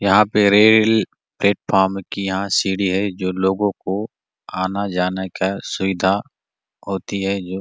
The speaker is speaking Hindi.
यहाँ पे रेल प्लेटफॉर्म की यहाँ सीढ़ी है जो लोगो को आना जाना का सुविधा होती है जो --